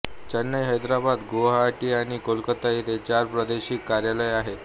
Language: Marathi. चेन्नई हैदराबाद गुवाहाटी आणि कोलकाता येथे चार प्रादेशिक कार्यालये आहेत